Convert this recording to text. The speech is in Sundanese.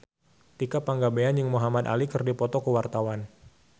Tika Pangabean jeung Muhamad Ali keur dipoto ku wartawan